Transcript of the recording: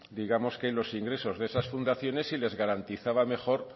digamos que los ingresos de esas fundaciones y les garantizaba mejor